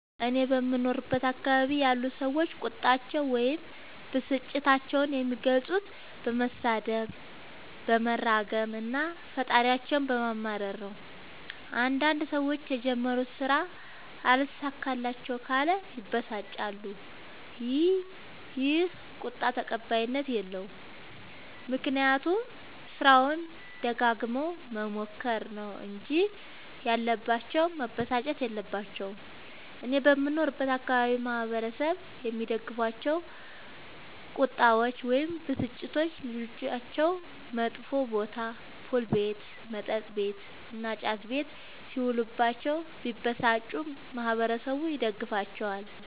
እኔ በምኖርበት አካባቢ ያሉ ሠዎች ቁጣቸዉን ወይም ብስጭታቸዉን የሚገልፁት በመሣደብ በመራገም እና ፈጣሪያቸዉን በማማረር ነዉ። አንዳንድ ሠዎች የጀመሩት ስራ አልሣካላቸዉ ካለ ይበሳጫሉ ይ። ይህ ቁጣ ተቀባይኀት የለዉም። ምክንያቱም ስራዉን ደጋግመዉ መሞከር ነዉ እንጂ ያለባቸዉ መበሳጨት የለባቸዉም። እኔ በምኖርበት አካባቢ ማህበረሰቡ የሚደግፋቸዉ ቁጣዎች ወይም ብስጭቶች ልጆቻቸዉ መጥፌ ቦታ[ፑል ቤት መጥ ቤት እና ጫት ቤት ]ሢዉሉባቸዉ ቢበሳጩ ማህበረሠቡ ይደግፋቸዋል።